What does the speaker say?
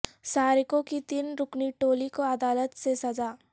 سارقوں کی تین رکنی ٹولی کو عدالت سے سزاء